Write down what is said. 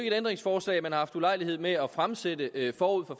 et ændringsforslag man har haft ulejlighed med at fremsætte forud for